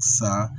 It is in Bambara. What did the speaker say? Sa